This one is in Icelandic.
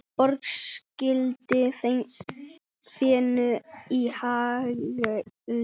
Borg skýldi fénu í hagli.